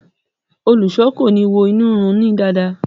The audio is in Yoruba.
Olùṣọ ko ni wo inu run ni dáadáa.